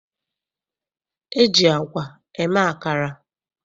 E ji agwa eme akara.